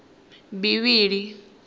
bivhili